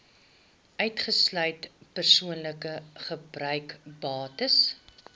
uitgesluit persoonlike gebruiksbates